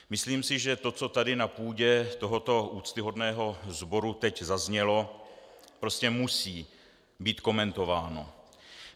Myslím si, že to, co tady na půdě tohoto úctyhodného sboru teď zaznělo, prostě musí být komentováno.